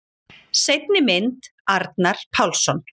Seinni mynd: Arnar Pálsson.